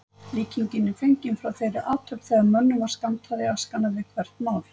Líkingin er fengin frá þeirri athöfn þegar mönnum var skammtað í askana við hvert mál.